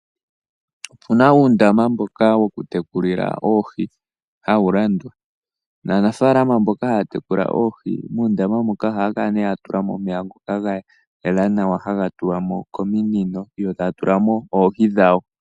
Opu na uundama mboka wokutekulila oohi hawu landwa. Aanafaalama mboka haya tekula oohi muundama moka ohaya kala ya tula mo omeya ngoka ga yela nawa, haga tulwa mo kominino, yo taya tula mo oohi dhawo.